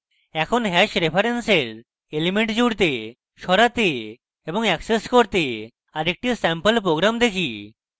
এখন hash রেফারেন্সের elements জুড়তে সরাতে এবং access করতে আরেকটি স্যাম্পল program দেখি